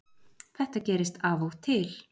Þetta gerist af og til